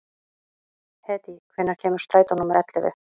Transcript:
Hedí, hvenær kemur strætó númer ellefu?